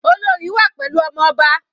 Olorì wà pẹ̀lú ọmọ ọba.